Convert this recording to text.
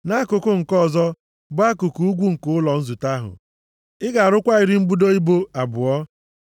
Nʼakụkụ nke ọzọ, bụ akụkụ ugwu nke ụlọ nzute ahụ, ị ga-arụkwa iri mbudo ibo abụọ.